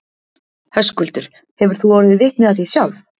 Höskuldur: Hefur þú orðið vitni af því sjálf?